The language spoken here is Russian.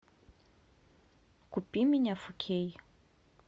купи меня фо кей